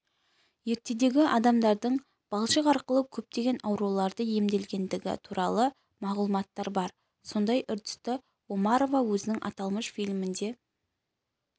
ертедегі адамдардың балшық арқылы көптеген аурулардан емделгендігі туралы мағлұматтар бар сондай үрдісті омарова өзінің аталмыш фильмінде